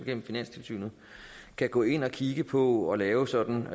gennem finanstilsynet kan gå ind og kigge på og lave sådan